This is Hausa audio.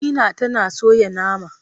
Nina tana soya nama.